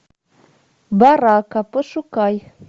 барака пошукай